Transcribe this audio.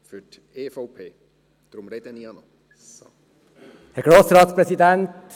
Wir haben noch ein wenig aufzuräumen.